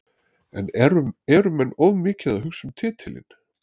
En eru menn of mikið að hugsa um titilinn?